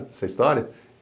Essa história.